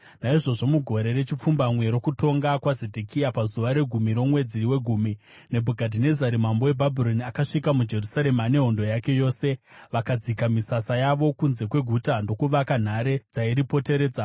Naizvozvo mugore rechipfumbamwe rokutonga kwaZedhekia, pazuva regumi romwedzi wegumi, Nebhukadhinezari mambo weBhabhironi akasvika muJerusarema nehondo yake yose. Vakadzika misasa yavo kunze kweguta ndokuvaka nhare dzairipoteredza.